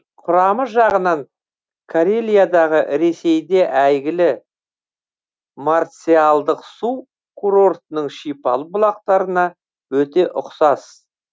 құрамы жағынан карелиядағы ресейде әйгілі марциалдық су курортының шипалы бұлақтарына өте ұқсас